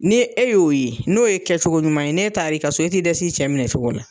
Ni e y'o ye n'o ye kɛcogo ɲuman ye n'e taara i ka so i tɛ dɛs'i cɛ minɛ cogo la.